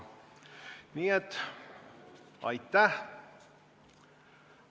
Nii et aitäh!